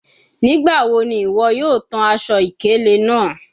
Nigbawo ni iwọ yoo tan aṣọ-ikele naa?